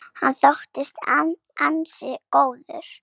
Hann þóttist ansi góður.